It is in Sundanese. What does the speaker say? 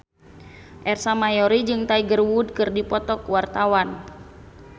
Ersa Mayori jeung Tiger Wood keur dipoto ku wartawan